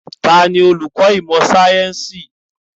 Taàní olùkọ́ ìmọ̀ sayẹ́nsi?